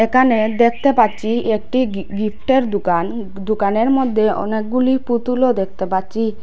একানে দেখতে পাচ্ছি একটি গি-গিফটের দুকান দুকানের মধ্যে অনেকগুলি পুতুলও দেখতে পাচ্চি ।